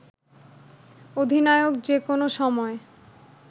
অধিনায়ক যে কোনো সময়